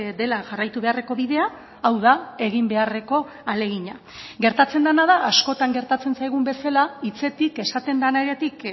dela jarraitu beharreko bidea hau da egin beharreko ahalegina gertatzen dena da askotan gertatzen zaigun bezala hitzetik esaten denetik